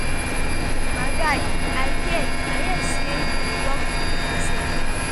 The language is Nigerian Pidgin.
my guy i hear i hear say you dey work for unicef now